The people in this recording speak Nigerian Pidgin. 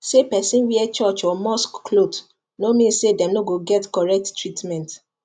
say person wear church or mosque cloth no mean say dem no go get correct treatment